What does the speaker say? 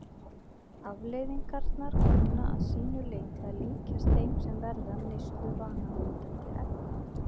Afleiðingarnar kunna að sínu leyti að líkjast þeim sem verða af neyslu vanabindandi efna.